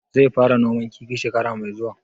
Zai fara noman kifi shekara mai zuwa?